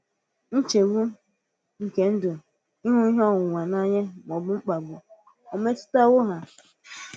Nchegbù nke Ndụ, ịhụ ihe onwunwe n’anya, mà ọ̀ bụ̀ mkpàgbù ò ò metụ̀tàwò ha?